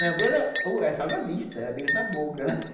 Pera, uva, aí salada mista, era beijo na boca